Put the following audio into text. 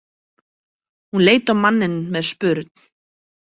Hún leit á manninn með spurn.